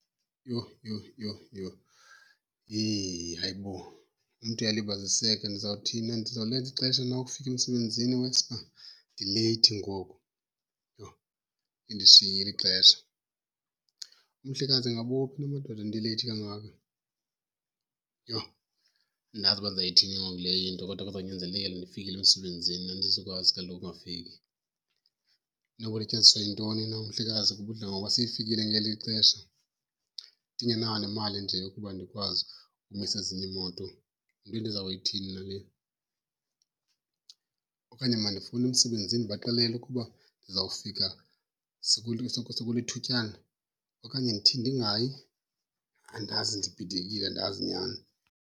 Yho, yho, yho, yho, yhe, hayibo! Umntu uyalibaziseka. Ndizawuthini, ndizawulenza ixesha lokufika emsebenzini? Iwesi uba ndileyithi ngoku. Yho, lindishiyile ixesha! Umhlekazi ingaba uphi na madoda, ndileyithi kangaka? Yho, andazi uba ndizayithini ke ngoku le into kodwa kuzonyanzelekile ndifikile emsebenzini, andizokwazi kaloku ukungafiki. Inoba ulityaziswa yintoni na umhlekazi kuba udla ngoba sefikile ngeli xesha? Ndingenayo nemali nje yokuba ndikwazi umisa ezinye iimoto, yinto endiza kuyithini na le? Okanye mandifowunele emsebenzini ndibaxelele ukuba ndizawufika sekulithutyana? Okanye ndithini, ndingayi? Andazi ndibhidekile, andazi nyhani.